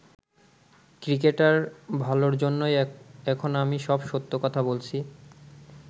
ক্রিকেটের ভালোর জন্যেই এখন আমি সব সত্য কথা বলেছি।